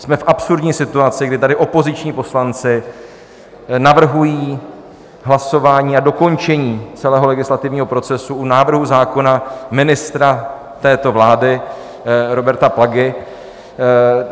Jsme v absurdní situaci, kdy tady opoziční poslanci navrhují hlasování a dokončení celého legislativního procesu u návrhu zákona ministra této vlády Roberta Plagy.